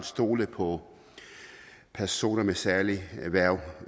stole på at personer med særlige erhverv